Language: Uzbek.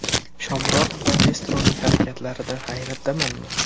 Shomurodov va Destroning harakatlaridan hayratdamanmi?